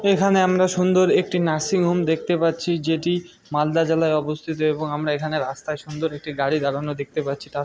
এখানে আমরা সুন্দর একটি নার্সিং হোম দেখতে পাচ্ছি যেটি মালদা জেলায় অবস্থিত এবং আমরা এখানে রাস্তায় সুন্দর একটি গাড়ি দাঁড়ানো দেখতে পাচ্ছি তার--